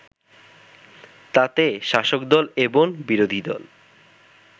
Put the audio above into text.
তাতে শাসকদল এবং বিরোধীদল